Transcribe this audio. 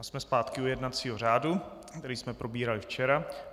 A jsme zpátky u jednacího řádu, který jsme probírali včera.